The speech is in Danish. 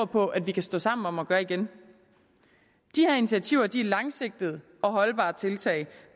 på vi kan stå sammen om at gøre de initiativer langsigtede og holdbare tiltag